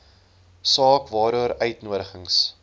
saak waaroor uitnodigings